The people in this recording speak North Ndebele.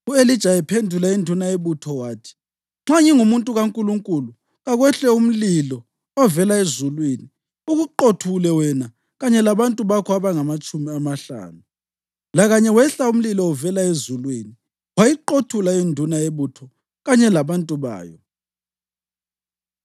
U-Elija ephendula induna yebutho wathi, “Nxa ngingumuntu kaNkulunkulu, kakwehle umlilo ovela ezulwini ukuqothule wena kanye labantu bakho abangamatshumi amahlanu!” Lakanye wehla umlilo uvela ezulwini wayiqothula induna yebutho kanye labantu bayo.